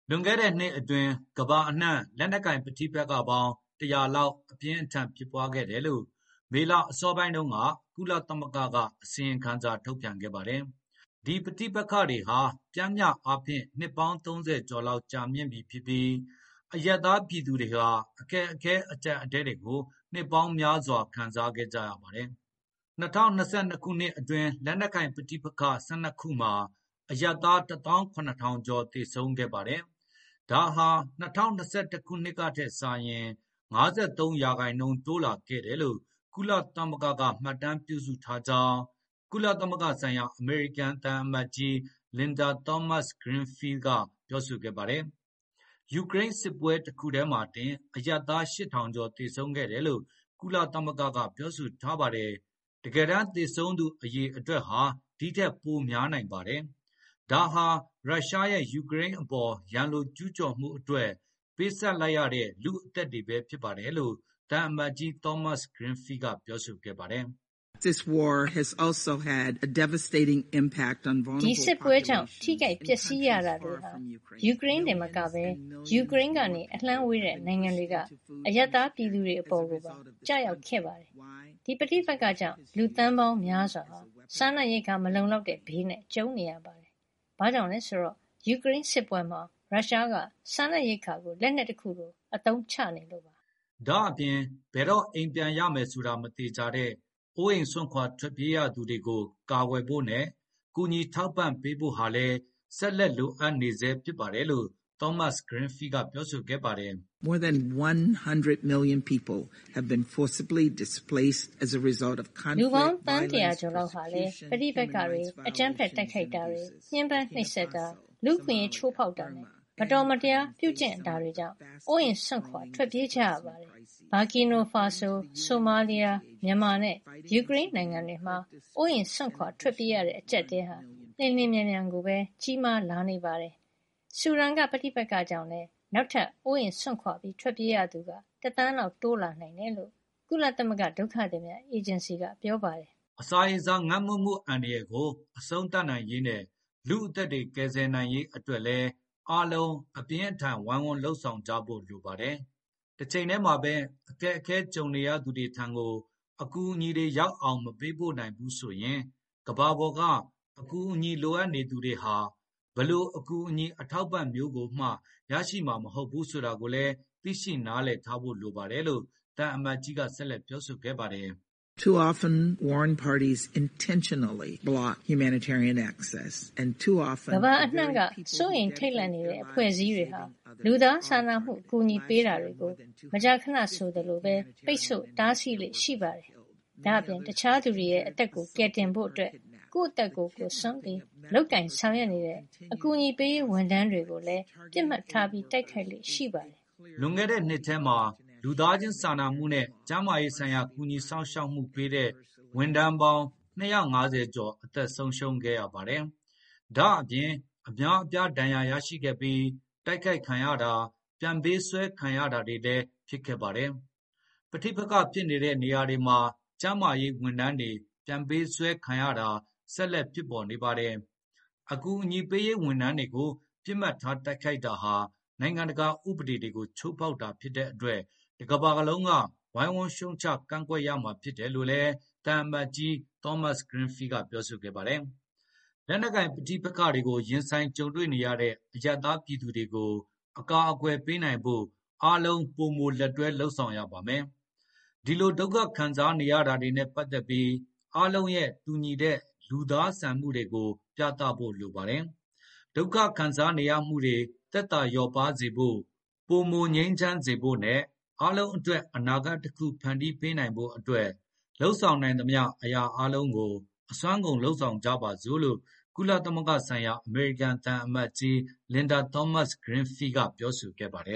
လွန်ခဲ့တဲ့နှစ်အတွင်း ကမ္ဘာအနှံ့ လက်နက်ကိုင်ပဋိပက္ခပေါင်း ၁၀၀ လောက်အပြင်း အထန်ဖြစ်ပွားခဲ့တယ်လို့ မေလအစော ပိုင်းတုန်းက ကုလသမဂ္ဂကအစီရင်ခံစာထုတ်ပြန်ခဲ့ပါတယ်။ ဒီပဋိပက္ခတွေဟာ ပျမ်းမျှအားဖြင့်နှစ်ပေါင်း ၃၀ ကျော်လောက် ကြာမြင့်ပြီဖြစ်ပြီး၊ အရပ်သား ပြည်သူတွေဟာအခက်အခဲအကျပ်အတည်းတွေကို နှစ်ပေါင်းများစွာခံစားခဲ့ကြပါတယ်။ ၂၀၂၂ ခုနှစ်အတွင်းလက်နက်ကိုင်ပဋိပက္ခ ၁၂ ခုမှာ အရပ်သား ၁ သောင်း ၇ ထောင်ကျော် သေဆုံးခဲ့ပါတယ်။ ဒါဟာ ၂၀၂၁ ခုနှစ်ကထက် ၅၃ ရာခိုင်နှုန်းတိုးလာခဲ့တယ်လို့ ကုလသမဂ္ဂ မှတ်တမ်းပြုစုထားကြောင်း ကုလသမဂ္ဂဆိုင်ရာအမေရိ ကန်သံအမတ်ကြီး လင်ဒါ သောမတ်စ် ဂရင်းဖီးလ် ကပြောဆိုခဲ့ပါတယ်။ ယူကရိန်းစစ်ပွဲတခု ထဲမှာတင်အရပ်သား ၈၀၀၀ ကျော် သေဆုံးခဲ့တယ်လို့ကုလသမဂ္ဂကပြောဆိုထားပါတယ်။ တကယ်တမ်းသေဆုံးသူအရေ အတွက်ဟာဒီထက်ပိုများနိုင်ပါတယ်၊ ဒါဟာရုရှားရဲ့ ယူကရိန်းအပေါ်ရန်လိုကျူးကျော်မှုအတွက် ပေးဆပ်လိုက်ရတဲ့လူ့ အသက်တွေဘဲဖြစ်ပါတယ်လို့ သံအမတ်ကြီး သောမတ်ဂရင်းဖီး ကပြောဆိုခဲ့ပါတယ်။ “ ဒီစစ်ပွဲကြောင့် ထိခိုက်ပျက်စီးရတာတွေဟာယူကရိန်းတင်မကဘဲ ယူကရိန်းကနေအလှမ်းဝေးတဲ့ နိုင်ငံတွေကအရပ်သားပြည်သူတွေအပေါ်ကိုပါကျရောက်ခဲ့ပါတယ်။ ဒီပဋိပက္ခကြောင့် လူသန်းပေါင်းများစွာဟာ စားနပ်ရိက္ခာမလုံလောက် တဲ့ဘေးနဲ့ကြုံရပါတယ်။ ဘာကြောင့်လဲ ဆိုတော့ ယူကရိန်းစစ်ပွဲမှာ ရုရှားကစားနပ်ရိက္ခာကိုလက်နှက်တခုလိုအသုံး ချနေလို့ပါဘဲ။” ဒါ့အပြင် ဘယ်တော့အိမ်ပြန်ရမယ်ဆိုတာမသေခြာတဲ့ အိုးအိမ်စွန့်ခွါထွက်ပြေးရသူတွေကို ကာကွယ်ဖို့နဲ့ ကူညီထောက်ပံ့ ပေးဖို့ဟာလည်းဆက်လက်လိုအပ်နေဆဲဖြစ်ပါတယ်လို့ သောမတ်စ် ဂရင်းဖီးလ်ကပြောဆိုခဲ့ပါတယ်။ “ လူပေါင်းသန်း ၁၀၀ ကျော်လောက်ဟာလည်း ပဋိပက္ခတွေ၊ အကြမ်းဖက်တိုက်ခိုက်မှု၊ ညှင်းပန်း နှိပ်စက်မှု၊ လူ့အခွင့် အရေးချိုးဖေါက်မှုနဲ့ မတော်မရားပြုကျင့်မှုတွေကြောင့် အိုအိမ်စွန့်ခွါ ထွက်ပြေးခဲ့ကြရပါတယ်။ ဗာကီနာဖာဆို၊ ဆိုမားလီးယား၊ မြန်မာနဲ့ ယူကရိန်း နိုင်ငံတွေမှာ အိုးအိမ်စွန့်ခွါထွက်ပြေးရတဲ့အကျပ်တည်းတွေ အလျင်အမြန်ကြီးမားလာနေပါတယ်။ ဆူဒန်က ပဋိပက္ခကြောင့်လည်းနောက်ထပ် အိုးအိမ်စွန့်ခွါထွက်ပြေးရသူ တသန်းလောက်တိုးလာ နိုင်တယ် လို့ကုလသမဂ္ဂဒုက္ခသည်များအေဂျင်စီကပြောဆိုထားပါတယ်” အစာရေစာငတ်မွတ်မှုအန္တရယ်ကိုအဆုံးသတ်နိုင်ရေးနဲ့ လူ့အသက်တွေကယ်ဆယ်နိုင်ရေး အတွက်လည်း အားလုံးအပြင်းအထန်ဝိုင်းဝန်းလုပ်ဆောင်ကြဖို့လိုပါတယ်။ တချိန်ထဲမှာဘဲ အခက်အခဲ ကြုံနေရသူတွေထံကို အကူအညီတွေ ရောက်အောင်မပေးပို့နိုင်ဘူးဆိုရင် ကမ္ဘာပေါ်က အကူအညီလိုအပ်နေသူတွေဟာ ဘယ်လို အကူအညီအထောက် အပံ့မျိုးကိုမှရရှိမှာမဟုတ်ဘူးဆိုတာကိုသိရှိနားလည်ထားဖို့လိုပါတယ်လို့ သံအမတ်ကြီးက ဆက်လက်ပြောဆိုခဲ့ပါတယ်။ “ မကြာခဏဆိုသလိုဘဲ၊ ကမ္ဘာအနှံ့က စိုးရိမ်ထိတ်လန့်နေတဲ့အဖွဲ့အစည်းတွေဟာ လူသားခြင်းစာနာမှုအကူအညီပေး တာတွေကိုပိတ်ဆို့တားဆီးလေ့ရှိပါတယ်။ ဒါ့အပြင် အခြားသူတွေရဲ့အသက်ကိုကယ်တင်ဖို့၊ ကိုယ့်အသက်ကိုစွန့်ပြီး လုပ်ကိုင်ဆောင်ရွက်နေတဲ့ အကူအညီပေးရေးဝန်ထမ်းတွေကိုလည်းပစ်မှတ်ထားတိုက်ခိုက်လေ့ရှိပါတယ်” လွန်ခဲ့တဲ့နှစ်ထဲမှာ လူသားခြင်းစာနာမှုနဲ့ ကျန်မာရေးဆိုင်ရာကူညီစောင့်ရှောက်မှုပေးတဲ့ ဝန်ထမ်းပေါင်း ၂၅၀ ကျော် အသက်ဆုံးရှုံးခဲ့ရပါတယ်။ ဒါ့အပြင် အများအပြားဒဏ်ရာရခဲ့ပြီး တိုက်ခိုက်ခံရတာ၊ ပြန်ပေးဆွဲဖမ်းဆီးခံခဲ့ရတာတွေလည်း ဖြစ်ခဲ့ပါတယ်။ ပဋိပက္ခဖြစ်နေတဲ့ နေရာတွေမှာ ကျန်းမာရေးဝန်ထမ်းတွေပြန်ပေးဆွဲခံရတာတွေဆက်လက်ဖြစ်ပေါ် နေပါတယ်။ အကူအညီပေးရေးဝန်ထမ်းတွေကို ပစ်မှတ်ထားတိုက်ခိုက်တာဟာ နိုင်ငံတကာဥပဒေတွေကို ချိုးဖေါက်တာ ဖြစ်တဲ့အတွက် တကမ္ဘာလုံးကဝိုင်းဝန်းရှုံချကန့်ကွက်ရမှာဖြစ်ပါတယ်။” လက်နက်ကိုင်ပဋိပက္ခတွေကို ရင်ဆိုင်ကြုံတွေ့နေရတဲ့ အရပ်သားပြည်သူတွေကို အကာကွယ်ပေး နိုင်ဖို့ အားလုံ ပိုမိုလက်တွဲလုပ်ဆောင်ရပါမယ်။ ဒီလိုဒုက္ခခံစားနေရမှုတွေနဲ့ပတ်သက်ပြီး အာလုံးရဲ့ တူညီတဲ့လူသားဆန်မှုတွေကို ပြသဖို့လိုပါတယ်။ ဒုက္ခခံစားနေရမှုတွေသက်သာလျော့ပါးစေဖို့၊ ပိုမိုငြိမ်းချမ်းစေဖို့နဲ့ အားလုံးအတွက်အနာဂတ် တခုကိုဖန်တီးပေးနိုင်ဖို့အတွက် လုပ်ဆောင် နိုင်မသမျှအရာအားလုံးကို အစွမ်းကုန်လုပ်ဆောင်ကြပါစို့လို့ ကုလသမဂ္ဂ ဆိုင်ရာ အမေရိကန်သံအမတ်ကြီး လင်ဒါသောမတ်စ်ဂရင်းဖီးလ် ကပြောဆိုခဲ့ပါတယ